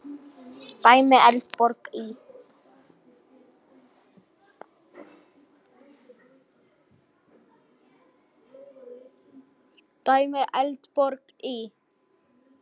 Dæmi: Eldborg í